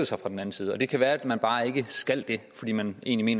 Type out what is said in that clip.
sig fra den anden side det kan være man bare ikke skal det fordi man egentlig